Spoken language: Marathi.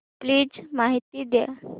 प्लीज माहिती द्या